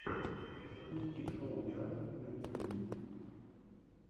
запусти шоу диана на ютюбе